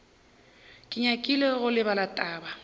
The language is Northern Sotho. ke nyakile go lebala taba